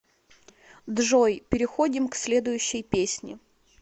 джой переходим к следующей песни